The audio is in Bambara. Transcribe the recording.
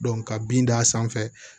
ka bin d'a sanfɛ